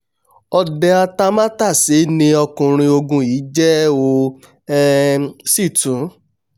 ọdẹ atamátàsé ni ọkùnrin ogun yìí jẹ́ ó um sì tún